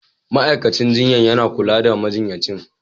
Ma'aikacin jinya yana kula majinyacin